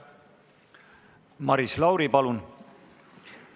Maris Lauri, palun!